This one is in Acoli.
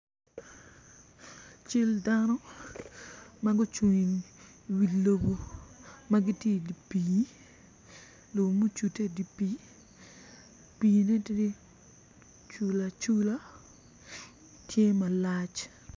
Cal dano ma gucung iwi lobo ma gitye idye pii ngom ma ocude idye pii, pii ne tye cula cula tye malac